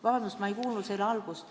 Vabandust, ma ei kuulnud küsimuse algust.